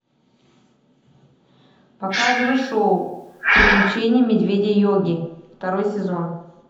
показывай шоу приключения медведя йоги второй сезон